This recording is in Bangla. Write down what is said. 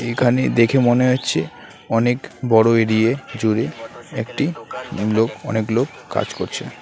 এখানে দেখে মনে হচ্ছে অনেক বড় এরিয়ে জুড়ে একটি লোক অনেক লোক কাজ করছে।